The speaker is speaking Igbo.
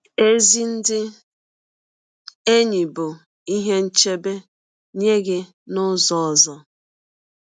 Ezi ndị enyi bụ ihe nchebe nye gị n’ụzọ ọzọ.